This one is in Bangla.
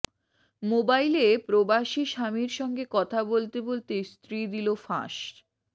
মোবাইলে প্রবাসী স্বামীর সঙ্গে কথা বলতে বলতে স্ত্রী দিল ফাঁস